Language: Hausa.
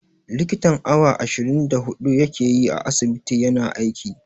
Likitan awa ashirin da huɗu ya ke yi a asibiti ya na aiki.